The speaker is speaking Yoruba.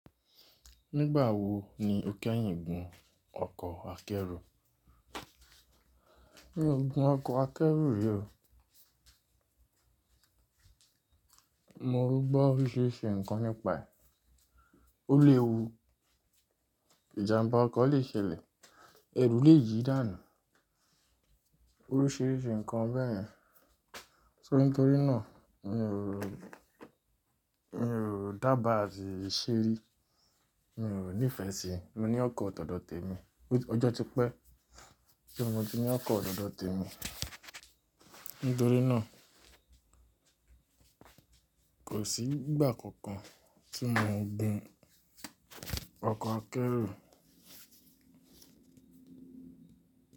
Nígbà wo ni o kẹ́yìn gun ọkọ̀ akẹ́rù? Mi ò gun ọkọ̀ akẹ́rù rí o. Mo n gbọ́ oríṣìíríṣìí ǹkan nípa ẹ̀. Ó lè wu, ìjàmbá ọkọ̀ lè ṣẹlẹ̀, ẹrù lè yi dànù, oríṣìíríṣìí ǹkan bẹ́ yẹ̀n. Tori nítorí náà mi ò, mi ò dába àti ṣeri, mi ò nífẹ̀ẹ́ síi, mo ní ọkọ̀ tọ̀dọ̀ọ̀ tèmi. Ọjọ́ ti pẹ́, ti mo ti ní ọkọ̀ tọ̀dọ̀ọ̀ tèmi? Nítorí náà kò sí ìgbà kankan tí mo ń gun ọkọ̀ akẹ́rù.